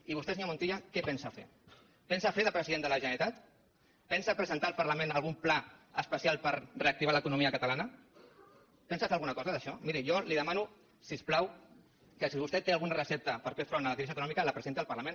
i vostè senyor montilla què pensa fer pensa fer de president de la generalitat pensa presentar al parlament algun pla especial per reactivar l’economia catalana pensa fer alguna cosa d’aquestes miri jo li demano si us plau que si vostè té alguna recepta per fer front a la crisi econòmica la presenti al parlament